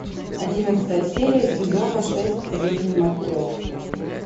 одиннадцатая серия сезона шесть жизней матрешки